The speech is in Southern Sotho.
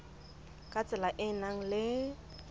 ka tsela e nang le